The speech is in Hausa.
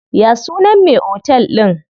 Ya sunan me otel din?